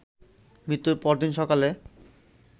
মৃত্যুর পরদিন সকালে